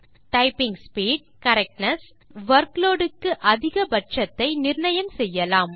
typing speed correctness மற்றும் workload க்கு அதிக பட்சத்தை நிர்ணயம் செய்யலாம்